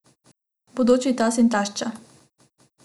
Bodoči tast in tašča.